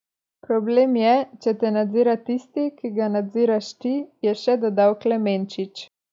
Problem je, če te nadzira tisti, ki ga nadziraš ti, je še dodal Klemenčič.